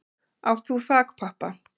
Átt þú þakpappa?